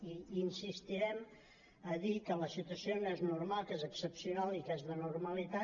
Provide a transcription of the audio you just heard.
i insistirem a dir que la situació no és normal que és excepcional i que és d’anormalitat